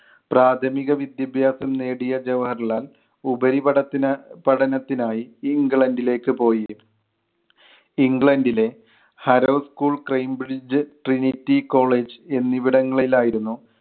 പ്രാഥമിക വിദ്യാഭ്യാസം നേടിയ ജവഹർലാൽ, ഉപരിപഠനത്തിന് പഠനത്തിനായി ഇംഗ്ലണ്ടിലേക്ക് പോയി. ഇംഗ്ലണ്ടിലെ ഹാരോൾക്കുൾ കംബ്രിഡ്ജ് ട്രിനിറ്റി college എന്നിവിടങ്ങളിൽ ആയിരുന്നു